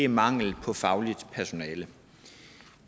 manglen på fagligt personale